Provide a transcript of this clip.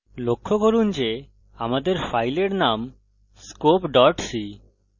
লক্ষ্য করুন যে আমাদের file name scope c